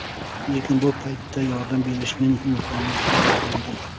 Lekin bu paytda yordam berishning imkoni qolmagandi.